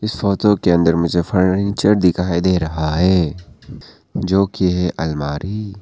photo के अंदर मुझे फर्नीचर दिखाई दे रहा है जो की अलमारी--